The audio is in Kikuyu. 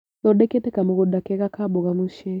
Thondekete kamũgũnda kega ka mboga mũci.